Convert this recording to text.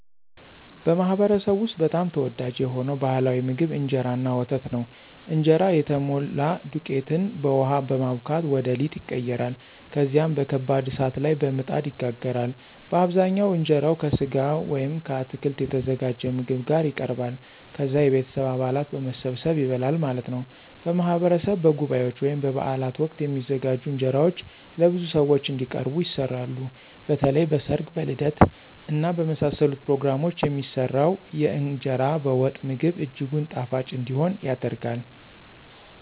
በማኅበረሰብዎ ውስጥ በጣም ተወዳጅ የሆነው ባሕላዊ ምግብ እንጀራ እና ወተት ነው። እንጀራ የተሞላ ዱቄትን በውሃ በማቡካት ወደ ሊጥ ይቀየራል። ከዚያም በከባድ እሳት ላይ በምጣድ ይጋገራል። በአብዛኛው እንጀራው ከሥጋ ወይም ከአትክልት የተዘጋጀ ምግብ ጋር ይቀርባል። ከዛ የቤተሰብ አባላት በመሰባሰብ ይበላል ማለት ነው። በማህበረሰብ በጉባኤዎች ወይም በበዓላት ወቅት የሚዘጋጁ እንጀራዎች ለብዙ ሰዎች እንዲቀርቡ ይሰራሉ። በተለይም በ ሰርግ ,በልደት እና በመሳሰሉት ፕሮግራሞች የሚሰራው የእንገራ በወጥ ምግብ እጅጉን ጣፋጭ እንዲሆን ይደረጋል።